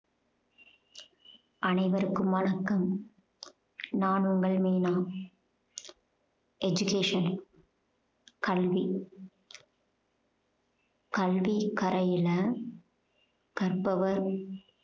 அனைவருக்கும் வணக்கம். நான் உங்கள் மீனா education கல்வி கல்விக்கரையில கற்பவர்